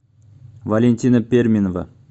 валентина перминова